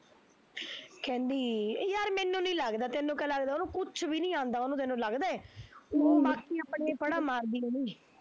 ਕਹਿੰਦੀ ਏਹ ਯਾਰ ਮੈਨੂੰ ਨੀ ਲਗ਼ਦਾ ਤੇਨੂੰ ਕਿਆ ਲੱਗਦਾ, ਉਹਨੂੰ ਕੁਛ ਵੀ ਨੀ ਆਉਂਦਾ ਤੇਨੂੰ ਲੱਗਦਾ ਐ, ਊ ਬਾਕੀ ਆਪਣੀਆਂ ਫੜਾ ਮਾਰਦੀ ਹੋਣੀ